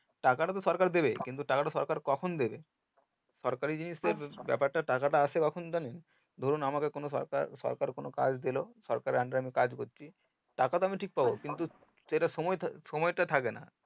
টাকাটা তো সরকার দেবেই কিন্তু টাকাটা সরকার কখন দেবে সরকারি জিনিস গুলোর ব্যাপারটা টাকাটা আসে কখন জানেন ধরুন আমাকে কোনো সরকার সরকার কাজ দিলো সরকারের under এ আমি কাজ করছি টাকাতো আমি ঠিক পাবো কিন্তু সেটা সময়টা থাকেনা